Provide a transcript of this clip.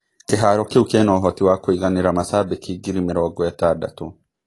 Kĩharo kĩu kĩna ũhoti wa kũiganĩra macambĩki ngiri mĩrongo-ĩtandatũ.